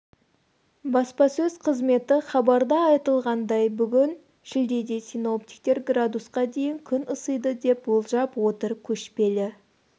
баспасөз қызметі хабарда айтылғандай бүгін шілдеде синоптиктер градусқа дейін күн ысиды деп болжап отыр көшпелі